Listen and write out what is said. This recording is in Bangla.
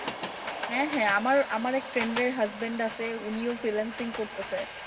হ্যাঁ হ্যাঁ আমার আমার এক friend এর husband আছে উনি ও freelancing করতেছে।